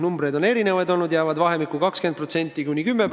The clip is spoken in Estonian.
Neid arve on erinevaid olnud, need jäävad 10 ja 20% vahele.